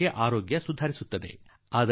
ತಕ್ಷಣಕ್ಕೇನೋ ಕಾಯಿಲೆಯಿಂದ ಮುಕ್ತಿ ದೊರಕಿ ಬಿಡುತ್ತದೆ